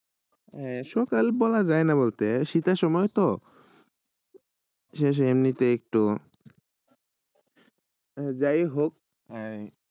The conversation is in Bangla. সকালবেলা যায় না বলেত সীতের সময় তো শেষে এমনই এক যায় হউক